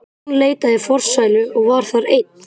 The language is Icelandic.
Jón leitaði í forsælu og var þar einn.